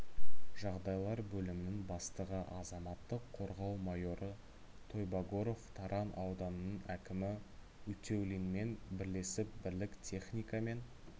жағдайлар бөлімінің бастығы азаматтық қорғау майоры тойбагоров таран ауданының әкімі утеулинмен бірлесіп бірлік техника мен